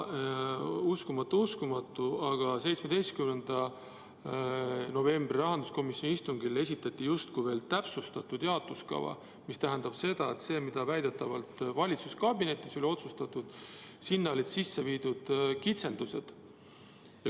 Uskumatu, aga 17. novembril rahanduskomisjoni istungil esitati justkui veel täpsustatud jaotuskava, mis tähendab, et sellesse, mis väidetavalt valitsuskabinetis oli otsustatud, olid sisse viidud kitsendused.